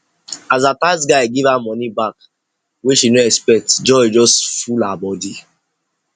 as her tax guy give her money back wey she no expect joy just full her body